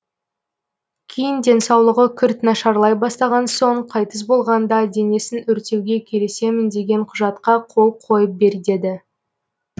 кейін денсаулығы күрт нашарлай бастаған соң қайтыс болғанда денесін өртеуге келісемін деген құжатқа қол қойып бер деді